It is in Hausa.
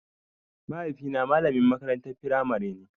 Mahaifi na malamin makarantar firamare ne